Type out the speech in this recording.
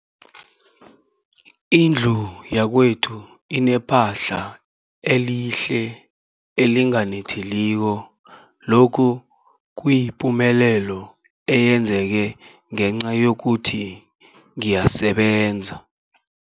Indlu yakwethu inephahla elihle, elinganetheliko, lokhu kuyipumelelo eyenzeke ngenca yokuthi ngiyasebenza.